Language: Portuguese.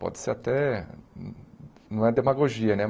Pode ser até... não é demagogia, né?